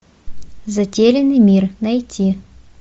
затерянный мир найти